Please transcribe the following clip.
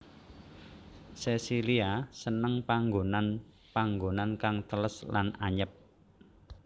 Sesilia seneng panggonan panggonan kang teles lan anyep